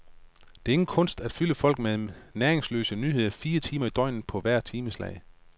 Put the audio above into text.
Det er ingen kunst at fylde folk med næringsløse nyheder fire timer i døgnet på hvert timeslag.